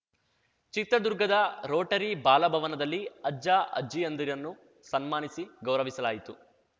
ಚಿತ್ರದುರ್ಗದ ರೋಟರಿ ಬಾಲ ಭವನದಲ್ಲಿ ಅಜ್ಜ ಅಜ್ಜಿಯಂದಿರನ್ನು ಸನ್ಮಾನಿಸಿ ಗೌರವಿಸಲಾಯಿತು